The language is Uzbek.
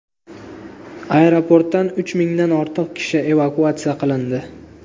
Aeroportdan uch mingdan ortiq kishi evakuatsiya qilindi.